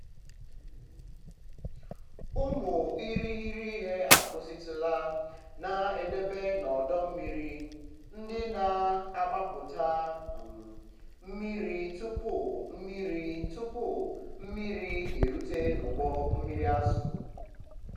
ụmụ irighiri ihe akwụsịtụla na-edobe n'ọdọ mmiri ndị na-agbapụta um mmiri tupu mmiri tupu mmiri erute n'ụgbọ mmiri azụ. um